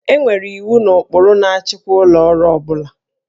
E nwere iwu na ụkpụrụ na-achịkwa ụlọ ọrụ ọ bụla